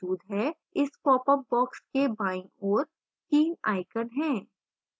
इस popअप box के बाईं ओर 3 icons हैं